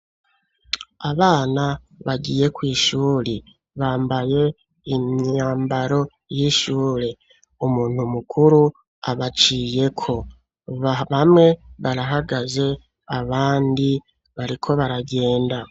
Abana bagiyeko ishuri bambaye imyambaro y'ishure umuntu mukuru abaciyeko bamwe barahagaze abandi bariko baragenda.